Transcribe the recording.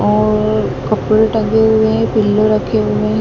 और कपड़े टंगे हुए है पिल्लो रखे हुए--